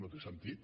no té sentit